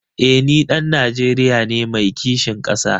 Eh ni ɗan Najeriya ne mai kishin ƙasa.